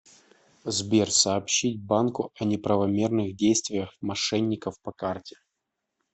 сбер сообщить банку о неправомерных действиях мошенников по карте